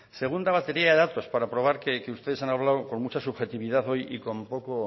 segunda batería de datos para probar que ustedes han hablado con mucha subjetividad hoy y con poco